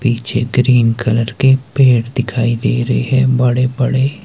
पीछे green colour के पेड़ दिखाई दे रहे हैं बड़े बड़े।